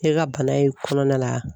Ne ka bana in kɔnɔna la